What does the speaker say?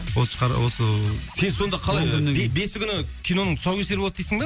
осы осы ыыы сен сонда қалай он күннен кейін бесі күні киноның тұсаукесері болады дейсің бе